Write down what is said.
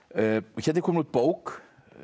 hérna er komin út bók